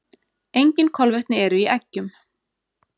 Engin kolvetni eru í eggjum.